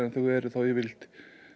þau eru þá yfirleitt